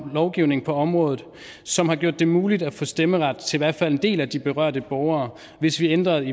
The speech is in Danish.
lovgivning på området som har gjort det muligt at få stemmeret til i hvert fald en del af de berørte borgere hvis vi ændrede